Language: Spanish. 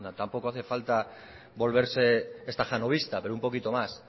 tampoco hace falta volverse estajanovista pero un poquito más